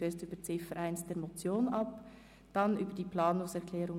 Sollte diese angenommen werden, würden wir über die Motion abstimmen.